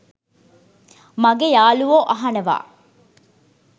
මගේ යාලුවෝ අහනවා